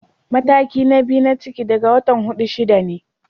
Mataki na biyu na ciki daga watan hudu-shida ne.